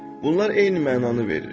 “Bunlar eyni mənanı verir.